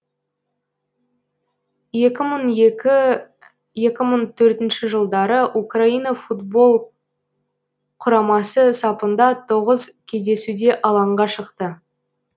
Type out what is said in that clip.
екі мың екі екі мың төртінші жылдары украина футбол құрамасы сапында тоғыз кездесуде алаңға шықты